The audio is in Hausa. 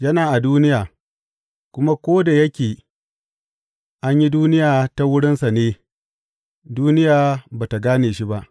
Yana a duniya, kuma ko da yake an yi duniya ta wurinsa ne, duniya ba tă gane shi ba.